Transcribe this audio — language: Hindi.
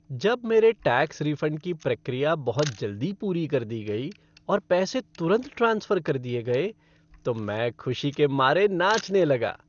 जब मेरे टैक्स रिफ़ंड की प्रक्रिया बहुत जल्दी पूरी कर दी गई और पैसे तुरंत ट्रांसफ़र कर दिए गए तो मैं खुशी के मारे नाचने लगा।